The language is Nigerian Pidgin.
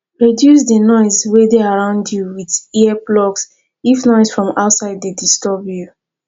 reduce di noise wey dey around you with ear plugs if noise from outside dey disturb you